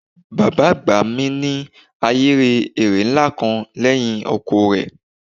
Bàbá àgbà mi ní ahéré ẹrẹ̀ ńlá kan lẹ́gbẹ̀ẹ́ oko rẹ̀